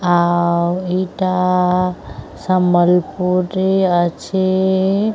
ଆଉ ଏଇଟା ସମଲପୂର୍ ରେ ଅଛି।